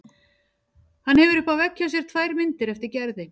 Hann hefur uppi á vegg hjá sér tvær myndir eftir Gerði.